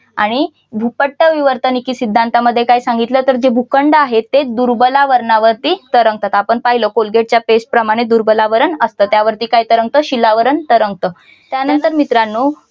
आणि भूपट्ट विवर्तनिकी सिद्धांतामध्ये काय सांगितलं तर जे भूखंड आहेत ते दुर्बला वरणावरती तरंगतात. आपण पाहिलं कोलगेटच्या पेस्ट प्रमाण दुर्बलावरण असत. त्यावरती काय तरंगत. शिलावरण तरंगत. त्यानंतर मित्रांनो